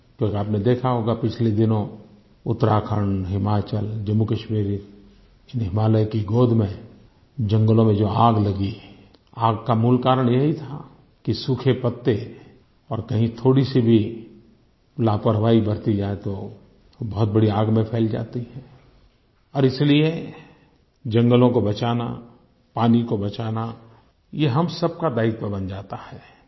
क्योंकि आपने देखा होगा पिछले दिनों उत्तराखण्ड हिमाचल जम्मूकश्मीर हिमालय की गोद में जंगलों में जो आग लगी आग का मूल कारण ये ही था कि सूखे पत्ते और कहीं थोड़ी सी भी लापरवाही बरती जाए तो बहुत बड़ी आग में फैल जाती है और इसलिए जंगलों को बचाना पानी को बचाना ये हम सबका दायित्व बन जाता है